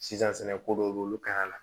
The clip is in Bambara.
Sisan sɛnɛko dɔw bɛ yen olu ka ɲi a la